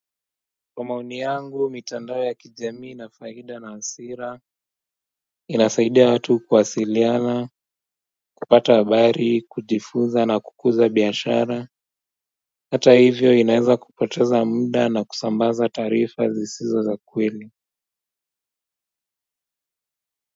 Kwa maoni yangu mitandao ya kijamii ina faida na hasira inasaidia watu kuwasiliana kupata habari kujifunza na kukuza biashara hata hivyo inaeza kupoteza muda na kusambaza taarifa zisizo za kweli.